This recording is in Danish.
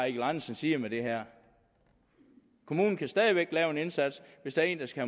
eigil andersen siger med det her kommunen kan stadig væk lave en indsats hvis der er en der skal